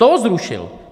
To zrušil.